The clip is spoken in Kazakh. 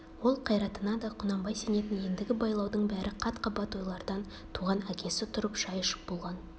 ол қайратына да құнанбай сенетін ендігі байлаудың бәрі қат-қабат ойлардан туған әкесі тұрып шай ішіп болған